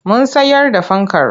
Mun sayar da fankar.